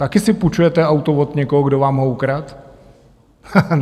Taky si půjčujete auto od někoho, kdo vám ho ukradl?